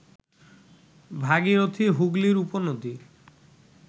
ভাগীরথী হুগলির উপনদী